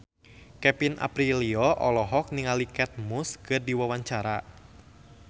Kevin Aprilio olohok ningali Kate Moss keur diwawancara